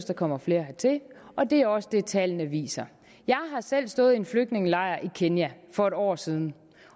der kommer flere hertil og det er også det tallene viser jeg har selv stået i en flygtningelejr i kenya for et år siden